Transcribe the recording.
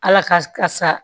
Ala ka sa